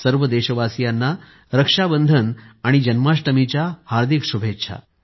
सर्व देशबांधवांना रक्षाबंधन आणि जन्माष्टमीच्या हार्दिक शुभेच्छा